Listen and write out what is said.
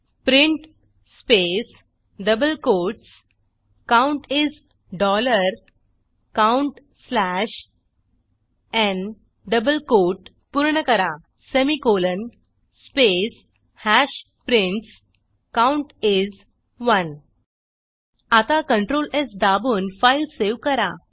print space double quotes count is dollar count slash n double quote पूर्ण करा semicolon space hash prints count is 1 आता CTLR S दाबून file save करा